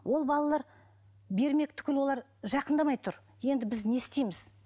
ол балалар бермек түгілі олар жақындамай тұр енді біз не істейміз